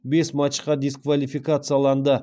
бес матчқа дисквалификацияланды